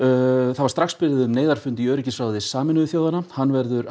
þá var strax beðið um neyðarfund í öryggisráði Sameinuðu þjóðanna hann verður